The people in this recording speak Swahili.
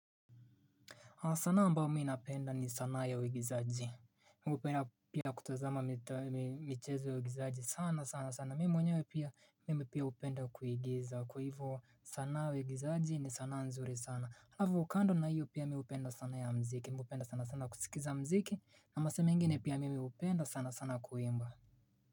Sana ambayo mii napenda ni sana ya uigizaji. Mi pia hupenda kutazama michezo ya uigizaji sana sana sana. Mimi mwenyewe pia hupenda kuigiza kwa hivyo sana uigizaji ni sana nzuri sana. Alafu kando na hiyo pia mimi hupenda sana ya mziki. Mimi hupenda sana sana kusikiliza mziki na masaa mengine pia mimi hupenda sana sana kuimba.